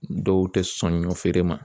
Dɔw tɛ sɔn ɲɔ feere ma.